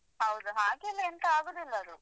ಹೌದು ಹಾಗೇನೆoತ ಆಗುದಿಲ್ಲ ಅದು.